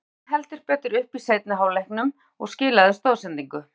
Steig heldur betur upp í seinni hálfleiknum og skilaði stoðsendingu.